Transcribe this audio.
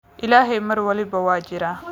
Ilaahay mar walba waa jiraa